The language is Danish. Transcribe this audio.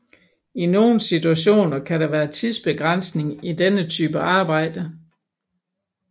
I nogle situationer kan der være tidsbegrænsning i denne type arbejde